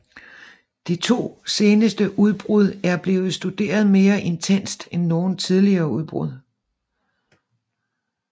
De to seneste udbrud er blevet studeret mere intenst end nogen tidligere udbrud